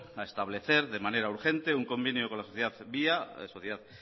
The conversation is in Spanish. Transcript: a establecer de manera urgente un convenio con la sociedad via la sociedad